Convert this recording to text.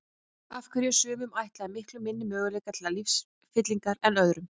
Af hverju eru sumum ætlaðir miklu minni möguleikar til lífsfyllingar en öðrum?